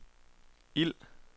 ild